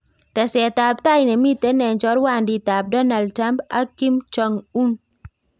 Teset ab tai nemiten en chorwandit ab Donald Trump ak Kim Jong Un